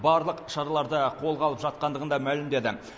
барлық шараларды қолға алып жатқандығын да мәлімдеді